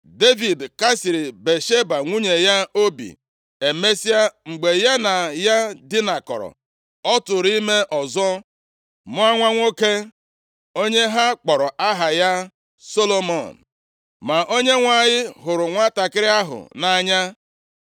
Devid kasiri Batsheba nwunye ya obi, emesịa, mgbe ya na ya dinakọrọ, ọ tụụrụ ime ọzọ mụọ nwa nwoke onye ha kpọrọ aha ya Solomọn. Ma Onyenwe anyị hụrụ nwantakịrị ahụ nʼanya.